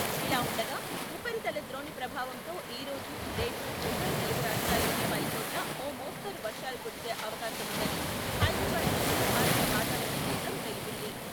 ఇలా ఉండగా ఉపరితల ద్రోణి ప్రభావంతో ఈరోజు, రేపు ఉభయ తెలుగు రాష్ట్రాల్లోని పలుచోట్ల ఓ మోస్తరు వర్షాలు కురిసే అవకాశముందని హైదరాబాద్లోని భారత వాతావరణ కేంద్రం తెలిపింది.